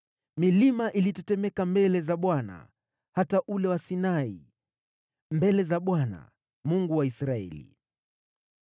Milima ilitetemeka mbele za Bwana , hata ule wa Sinai, mbele za Bwana , Mungu wa Israeli.